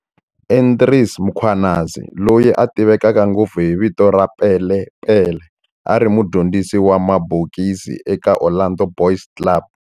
Andries Mkhwanazi, loyi a tiveka ngopfu hi vito ra Pele Pele, a ri mudyondzisi wa mabokisi eka Orlando Boys Club.